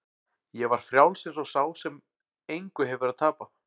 Ég var frjáls eins og sá sem engu hefur að tapa.